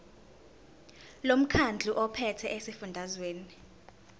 lomkhandlu ophethe esifundazweni